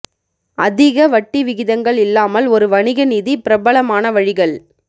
அதிக வட்டி விகிதங்கள் இல்லாமல் ஒரு வணிக நிதி பிரபலமான வழிகள்